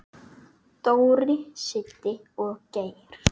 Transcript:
Dóri, Siddi og Geir.